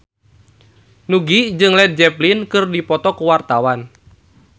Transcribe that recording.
Nugie jeung Led Zeppelin keur dipoto ku wartawan